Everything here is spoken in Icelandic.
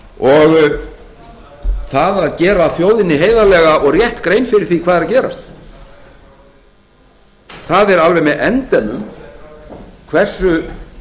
og það að gera þjóðinni heiðarlega og rétta grein fyrir því hvað er að gerast það er alveg með endemum hversu